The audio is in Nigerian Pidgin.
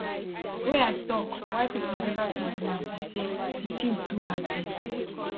wey i tok why pipo neva fit do am be say di tin too hard dem